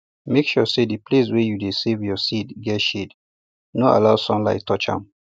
make sure say di place wey you dey save your seed get shade no allow sunlight touch am